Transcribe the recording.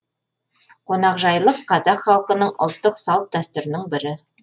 қонақжайлық қазақ халқының ұлттық салт дәстүрінің бірі